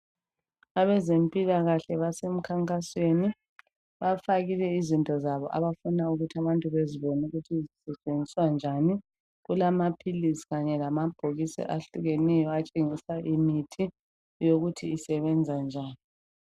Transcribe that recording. Abezempilakahle baseminkankasweni bafakile izinto zabo abafuna ukuthi abantu bezibone ukuthi zisetshenziswe njani kulamapills kanye lamabhokisi ahlukeneyo ukuthi asebenza njani